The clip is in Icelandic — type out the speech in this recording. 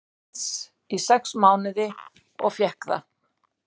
Íslands í sex mánuði og fékk það.